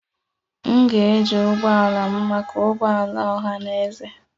M ga-eji ụgbọ ala m maka ụgbọ ala ọha na eze.